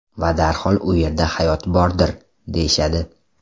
Va darhol u yerda hayot bordir, deyishadi .